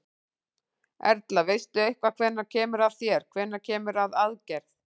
Erla: Veistu eitthvað hvenær kemur að þér, hvenær kemur að aðgerð?